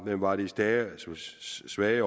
var de stærke og svage